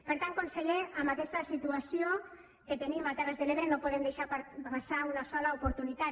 per tant conseller amb aquesta situació que tenim a terres de l’ebre no podem deixar passar una sola oportunitat